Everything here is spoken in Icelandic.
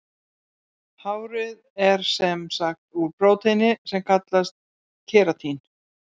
Hárið er sem sagt úr prótíni sem kallast keratín.